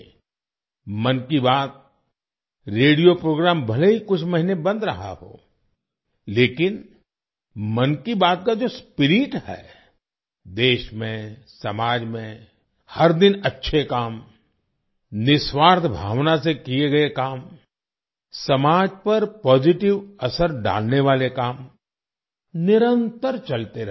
'मन Ki Baat' radio programme भले ही कुछ महीने बंद रहा हो लेकिन 'मन की बात' का जो स्पिरिट है देश में समाज में हर दिन अच्छे काम निस्वार्थ भावना से किए गए काम समाज पर पॉजिटिव असर डालने वाले काम - निरंतर चलते रहे